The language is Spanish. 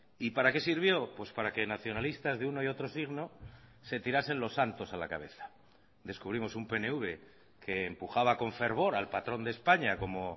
y para qué sirvió pues para que nacionalistas de uno y otro signo se tirasen los santos a la cabeza descubrimos un pnv que empujaba con fervor al patrón de españa como